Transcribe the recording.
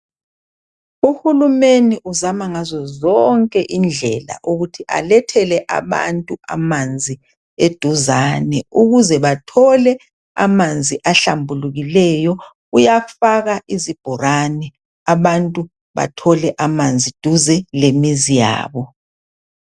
Uhulumeni uzama ngazozonke indlela ukuthi alethele abantu amanzi eduzane ukuze bathole amanzi ahlambulukileyo. Uyafaka izibholane abantu bathole amanzi duze lemizi yabo.